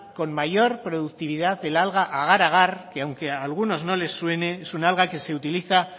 con mayor productividad el alga agar agar que aunque a algunos no les suene es un alga que se utiliza